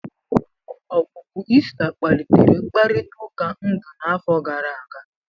Ọpụpụ Ị́sta kpalitere mkparịta ụka ndu n'afọ gara aga.